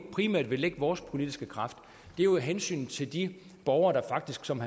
primært vil lægge vores politiske kræfter er jo i hensynet til de borgere der faktisk som